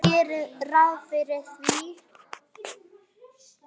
Ég geri ráð fyrir því.